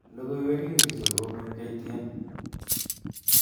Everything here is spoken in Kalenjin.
Logoiwek ingircho kobun K.T.N